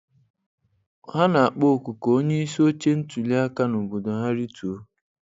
Ha na-akpọ oku ka onyeisi oche ntuliaka na obodo ha rituo